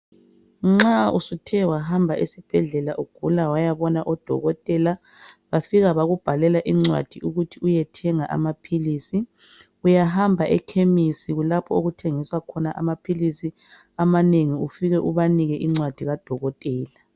Nxa usuthe wahamba esibhedlela ugula wayabona odokotela. Bafika bakubhalela incwadi ukuthi uyethenga amaphilisi. Uyahamba eKhemisi kulapho okuthengiswa khona amaphilisi amanengi ufike ubanike incwadi kadokotela.